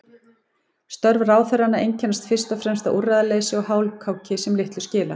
Störf ráðherranna einkennast fyrst og fremst af úrræðaleysi og hálfkáki sem litlu skila.